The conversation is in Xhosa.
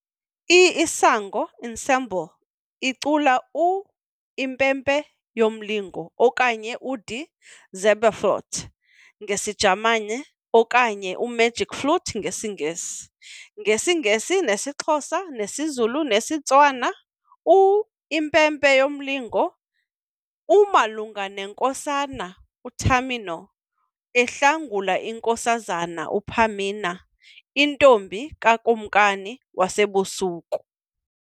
I-Isango Ensemble icula u-Impempe Yomlingo okanye u-Die Zauberflöte ngesiJamani okanye u-Magic Flute ngesiNgesi, ngesiNgesi nesiXhosa nesiZulu nesiTswana. U-Impempe Yomlingo umalunga nenkosana, uTamino ehlangula inkosazana, uPamina, intombi kaKumkanikazi woBusuku.